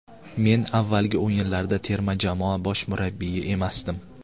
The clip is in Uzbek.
Men avvalgi o‘yinlarda terma jamoa bosh murabbiyi emasdim.